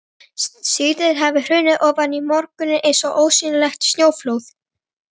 Síðdegið hafði hrunið ofan í morguninn eins og ósýnilegt snjóflóð.